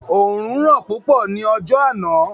Òorùn ran púpọ̀ ọjọ́ tí áná